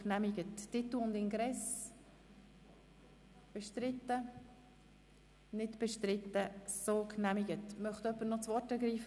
Möchte vor der Gesamtabstimmung jemand das Wort ergreifen?